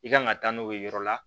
I kan ka taa n'o ye yɔrɔ la